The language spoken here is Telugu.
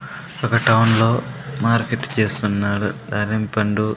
ఒక టౌన్ లో మార్కెట్ చేస్తున్నారు అరెంపండు.